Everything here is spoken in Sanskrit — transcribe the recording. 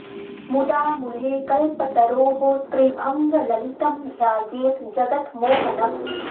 मुदा मुले कल्पतरोः त्रि भङ्ग ललितम् ध्यायेत् जगत् मोहनम्